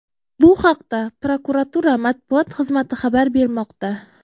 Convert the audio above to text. Bu haqda prokuratura matbuot xizmati xabar bermoqda .